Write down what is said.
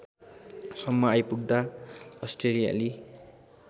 सम्म आइपुग्दा अस्ट्रेलियाली